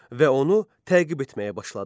Və onu təqib etməyə başladı.